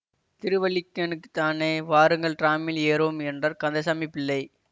திருவல்லிக்கேணிக்குத்தானே வாருங்கள் டிராமில் ஏறுவோம் என்றார் கந்தசாமி பிள்ளை